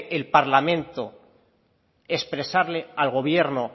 el parlamento expresarle al gobierno